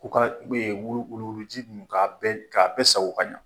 K'u ka wulu wuluji ninnu ka bɛɛ ka bɛɛ sago ka ɲɛ.